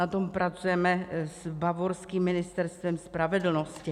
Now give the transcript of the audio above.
Na tom pracujeme s bavorským ministerstvem spravedlnosti.